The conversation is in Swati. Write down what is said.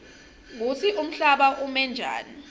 kutsi umhlaba umenjani